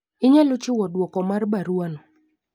Inyalo chiwo duok mar baruwa no.